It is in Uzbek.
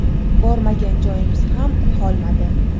Bormagan joyimiz ham qolmadi.